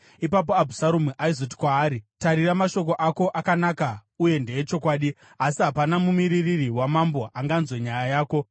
Ipapo Abhusaromu aizoti kwaari, “Tarira, mashoko ako akanaka uye ndeechokwadi, asi hapana mumiririri wamambo anganzwe nyaya yako.”